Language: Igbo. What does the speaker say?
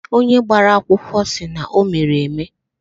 Onye gbara akwụkwọ sị na o mere eme